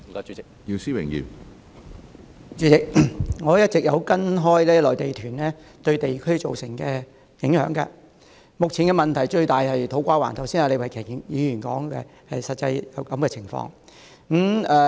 主席，我一直也有跟進內地團對地區造成的影響，目前最大問題的是土瓜灣，李慧琼議員剛才已說明有關的情況。